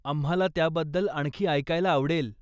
आम्हाला त्याबद्दल आणखी ऐकायला आवडेल.